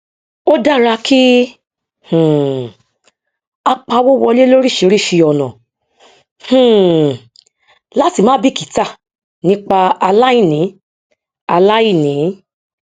ó dára kí um á pawó wọlé lóríṣìíríṣìí ọnà um láti má bíkítà nípa aláìní aláìní